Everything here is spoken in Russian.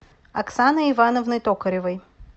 оксаной ивановной токаревой